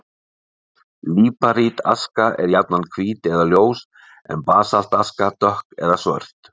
Líparítaska er jafnan hvít eða ljós, en basaltaska dökk eða svört.